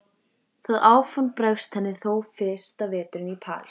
Það áform bregst henni þó fyrsta veturinn í París.